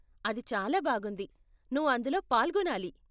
అది చాలా బాగుంది, నువ్వు అందులో పాల్గొనాలి.